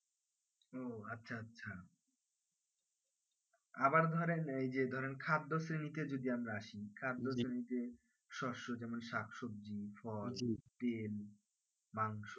আবার ধরেন এই যে ধরেন খাদ্য শ্রেনীতে যদি আমরা আসি খাদ্য শ্রেণীতে শষ্য যেমন শাক সবজি ফল তেল মাংস